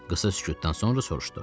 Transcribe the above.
Qısa sükutdan sonra soruşdu.